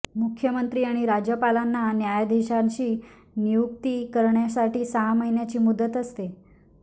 मुख्यमंत्री आणि राज्यपालांना न्यायाधिशांची नियुक्ती करण्यासाठी सहा महिन्यांची मुदत असते